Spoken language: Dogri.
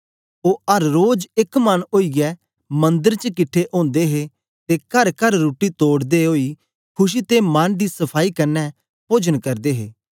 ओ अर रोज एक मन ओईयै मंदर च किट्ठे ओदे हे ते करकर रुट्टी तोड़दै ओई खुशी ते मन दी सफाई कन्ने पोजन करदे हे